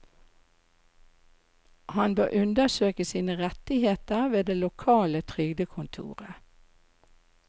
Han bør undersøke sine rettigheter ved det lokale trygdekontoret.